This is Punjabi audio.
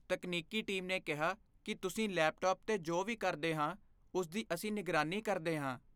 ਤਕਨੀਕੀ ਟੀਮ ਨੇ ਕਿਹਾ ਕਿ ਤਸੀਂ ਲੈਪਟਾਪ 'ਤੇ ਜੋ ਵੀ ਕਰਦੇ ਹਾਂ ਉਸ ਦੀ ਅਸੀਂ ਨਿਗਰਾਨੀ ਕਰਦੇ ਹਾਂ।